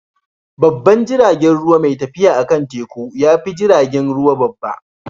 Babban jiragen ruwa mai tafiya akan teku ya fi jiragen ruwa babba.